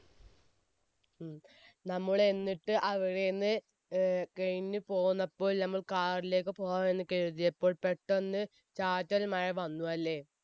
നമ്മൾ എന്നിട്ട് അവിടേന്ന് ഏർ കഴിഞ്ഞ് പോന്നപ്പോൾ നമ്മൾ car ലേക്ക് പോകാൻ കരുതിയപ്പോൾ പെട്ടന്ന് ചാറ്റൽ മഴ വന്നു അല്ലേ?